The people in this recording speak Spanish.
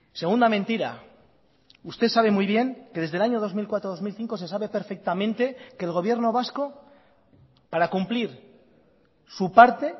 segunda mentira usted sabe muy bien que desde el año dos mil cuatro dos mil cinco se sabe perfectamente que el gobierno vasco para cumplir su parte